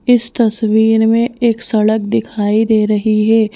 इस तस्वीर में एक सड़क दिखाई दे रही है।